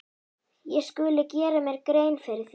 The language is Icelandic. Ég skuli gera mér grein fyrir því.